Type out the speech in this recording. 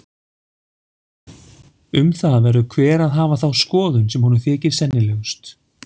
Um það verður hver að hafa þá skoðun sem honum þykir sennilegust.